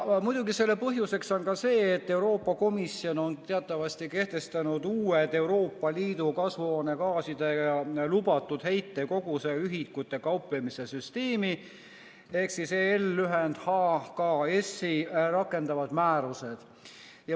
Muidugi on selle põhjuseks ka see, et Euroopa Komisjon on teatavasti kehtestanud uue Euroopa Liidu kasvuhoonegaaside lubatud heitkoguse ühikutega kauplemise süsteemi ehk EL‑i HKS‑i rakendavad määrused.